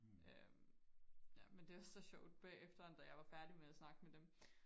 øhm ja men det er så sjovt bagefter da jeg var færdig med og snakke med dem